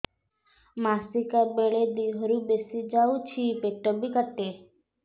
ମାସିକା ବେଳେ ଦିହରୁ ବେଶି ଯାଉଛି ପେଟ ବି କାଟେ